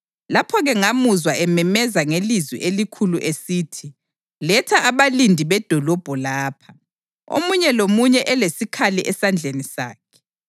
Lapho-ke ngamuzwa ememeza ngelizwi elikhulu esithi, “Letha abalindi bedolobho lapha, omunye lomunye elesikhali esandleni sakhe.”